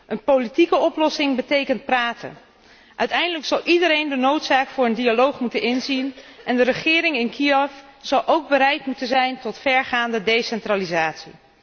Een politieke oplossing betekent praten. Uiteindelijk zou iedereen de noodzaak van een dialoog moeten inzien en de regering in Kiev zou ook bereid moeten zijn tot vergaande decentralisatie.